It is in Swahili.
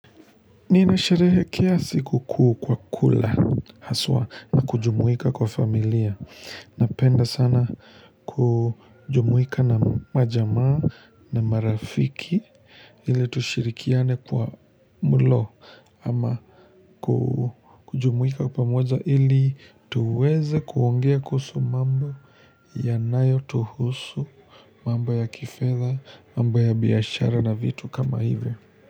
Nina sharehe kiasi huku kwa kula haswa na kujumuika kwa familia, napenda sana kujumuika na majamaa na marafiki ili tushirikiane kwa mlo ama kujumuika pamoja ili tuweze kuongea kusu mambo yanayo tuhusu, mambo ya kifedha, mambo ya biashara na vitu kama hivyo.